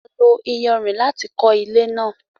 A lo iyanrìn láti kọ ilé náà